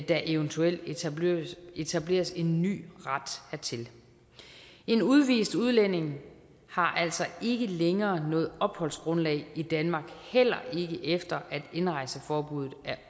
der eventuelt etableres etableres en ny ret hertil en udvist udlænding har altså ikke længere noget opholdsgrundlag i danmark heller ikke efter at indrejseforbuddet